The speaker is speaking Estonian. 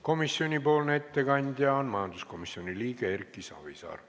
Komisjoni ettekandja on majanduskomisjoni liige Erki Savisaar.